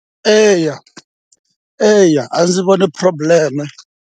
Eya eya a ndzi voni problem-e.